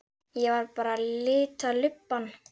Ég var bara að lita lubbann.